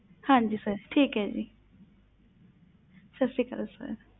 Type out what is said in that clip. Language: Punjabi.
ਹਾਂਜੀ sir ਠੀਕ ਹੈ ਜੀ ਸਤਿ ਸ੍ਰੀ ਅਕਾਲ sir